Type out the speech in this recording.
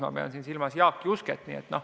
Ma pean silmas Jaak Jusket.